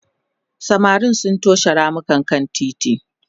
samarin sun toshe ramukan kan titi